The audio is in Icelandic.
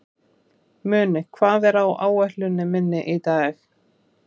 Muni, hvað er á áætluninni minni í dag?